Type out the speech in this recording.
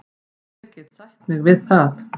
Ég get sætt mig við það.